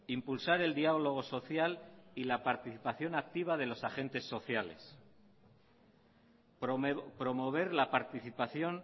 impulsar el diálogo social y la participación activa de los agentes sociales promover la participación